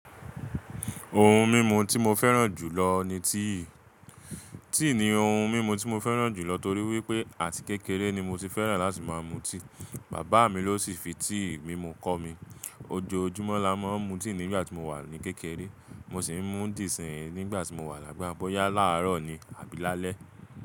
Ohun mímu tí mo fẹ́ràn jù lọ ni tíì. Tíì ní ohun mímu tí mo fẹ́ràn jù lọ torí wípé àti kékeré ni mo ti fẹ́ràn láti máa mu tíì, bàbá mi ló sì fi tíì mímu kọ́ mi. Ojoojúmọ́ la máa ń mu tíì nígbà tí mo wà ní kékeré, mo sì ń mu díì sìn nígbà tí mo wà lágbà. Bóyá láàárọ̀ ni àbí lálẹ́.